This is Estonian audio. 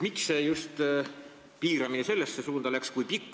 Miks see piiramine just sellesse suunda läks?